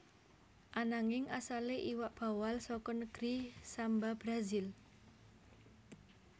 Ananging asalé iwak bawal saka negri Samba Brazil